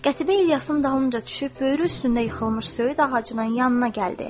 Qətibə İlyasın dalınca düşüb böyrü üstündə yıxılmış söyüd ağacının yanına gəldi.